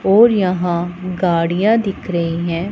और यहां गाड़ियां दिख रही है।